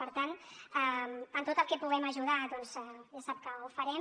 per tant en tot el que puguem ajudar doncs ja sap que ho farem